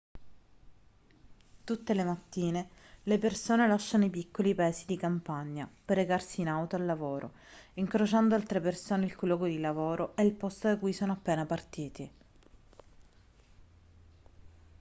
tutte le mattine le persone lasciano i piccoli paesi di campagna per recarsi in auto al lavoro incrociando altre persone il cui luogo di lavoro è il posto da cui sono appena partiti